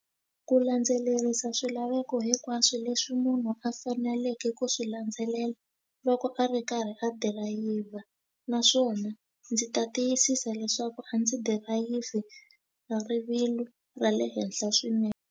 Ku landzelerisa swilaveko hinkwaswo leswi munhu a faneleke ku swi landzelela loko a ri karhi a dirayivha naswona ndzi ta tiyisisa leswaku a ndzi dirayivhi hi rivilo ra le henhla swinene.